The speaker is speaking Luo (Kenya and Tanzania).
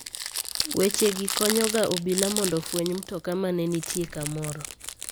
Wechegi konyoga obila mondo ofweny mtoka ma ne nitie kamoro.